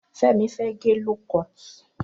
Femi fẹ̀ gẹ lókọt